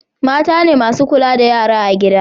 mata ne masu kula da yara a gida